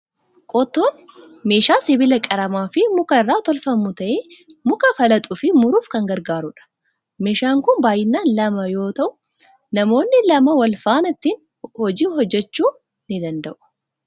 Qottoon meeshaa sibiila qaramaa fi muka irraa tolfamu ta'ee, muka falaxuu fi muruuf kan gargaarudha. Meeshaan kun baay'inaan lama yoo ta'u, namoonni lama wal faana ittiin hojii hojjechuu ni danda'u.